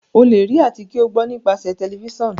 o le rí àti kí o gbó nípasẹ Tẹlifísàn.